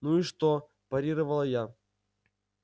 ну и что парировала я